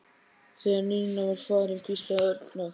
Þegar Nína var farin hvíslaði Örn að